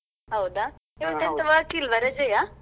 ಹೌದಾ ಇವತ್ತೆಂತಾ work ಇಲ್ವಾ ರಜೆಯಾ?